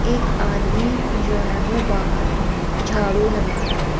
एक आदमी जो है वो बाहर झाड़ू लगा रहा है।